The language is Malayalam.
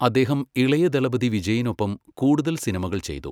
അദ്ദേഹം ഇളയ ദളപതി വിജയിനൊപ്പം കൂടുതൽ സിനിമകൾ ചെയ്തു.